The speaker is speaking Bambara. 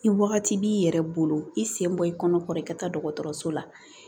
I wagati b'i yɛrɛ bolo i sen bɔ i kɔnɔ kɔrɔ i ka taa dɔgɔtɔrɔso la